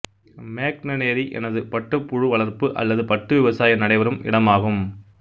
மேக்னனெரி எனது பட்டுப்புழு வளர்ப்பு அல்லது பட்டு விவசாயம் நடைபெறும் இடமாகும்